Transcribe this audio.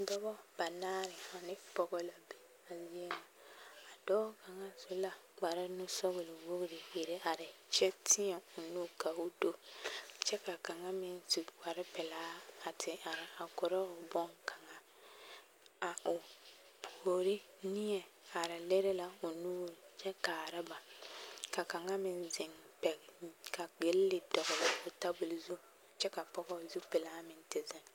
Dɔbɔ banaare ane pɔgɔ la be a zie ŋa a dɔɔ kaŋa su la kpare nu-sɔgele-wogiri iri are kyɛ tēɛ o nu ka o do kyɛ ka kaŋa meŋ zu kpare pelaa a te are a korɔ o boŋkaŋa a o puori neɛ are lere la o nuuri kyɛ kaara ba ka kaŋa meŋ zeŋ pɛgele kapo ka gilli dɔgele tabol zu kyɛ ka pɔgɔ zupelaa te zeŋ.